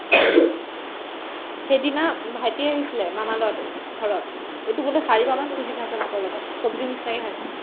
সেইদিনা ভাইটি আহিছিলে মামাৰ ল'ৰাটো ঘৰত এইটো বোলে চাৰিবাৰমান খুজি খাইছে ভাতৰ লগত চবজিৰ নিচিনাকে খাইছে ।